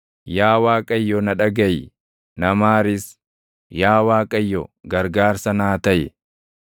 Yaa Waaqayyo na dhagaʼi; na maaris; Yaa Waaqayyo, gargaarsa naa taʼi.”